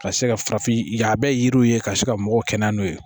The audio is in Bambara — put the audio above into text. Ka se ka farafin ɲaabɛ yiriw ye ka se ka mɔgɔw kɛnɛya n'o ye